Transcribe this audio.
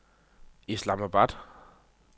Islamabad